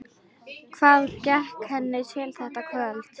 Hvað gekk henni til þetta kvöld?